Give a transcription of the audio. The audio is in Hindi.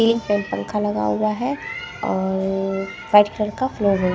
सीलिंग फैन पंखा लगा हुआ हैं और र वाइट कलर का फ्लोर --